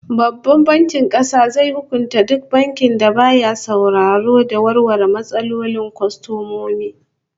Babban Bankin Kasa zai hukunta duk bankin da baya sauraro da warware matsalolin kwastomomi